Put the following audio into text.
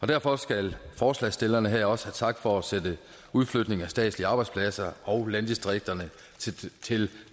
derfor skal forslagsstillerne også have tak for at sætte udflytning af statslige arbejdspladser og landdistrikterne til